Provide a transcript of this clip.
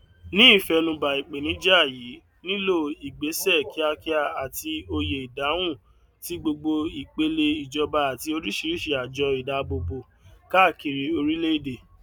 ní ìfẹnubà ìpènijà yìí nílò ìgbésẹ kíákíá àti òye ìdáhùn tí gbogbo ìpele ìjọba àti oríṣiríṣi àjọ ìdábòbò káàkiri orílẹèdè